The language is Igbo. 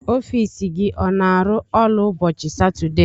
Ọfiisi gị ọ n'arụ ọrụ ụbọchị Satọdee?